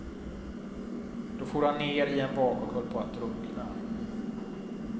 Då for han ner i en vak och höll på att drunkna.